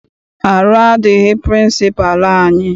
Arụ adịghị pịrịnsịpalụ anyị.